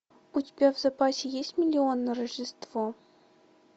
у тебя в запасе есть миллион на рождество